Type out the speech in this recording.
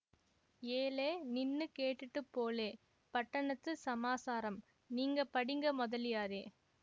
ஏலே நின்னு கேட்டுட்டுப் போலே பட்டணத்துச் சமாசாரம் நீங்க படிங்க மொதலியாரே